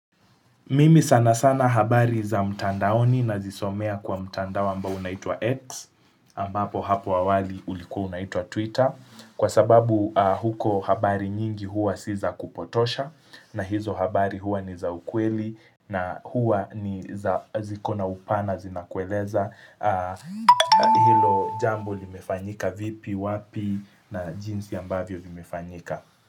Mimi sana sana habari za mtandaoni nazisomea kwa mtandao ambao unaitwa X ambapo hapo awali ulikuwa unaitwa Twitter kwa sababu huko habari nyingi huwa si za kupotosha na hizo habari huwa ni za ukweli na huwa ni ziko na upana zinakueleza hilo jambo limefanyika vipi, wapi na jinsi ambavyo vimefanyika.